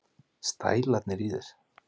Stælarnir í þér!